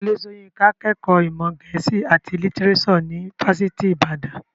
Wọlé Soyinka kẹ́kọ̀ọ́ ìmọ̀ gẹ̀ẹ́sì àti lítírésò ní fásitì ìbàdàn.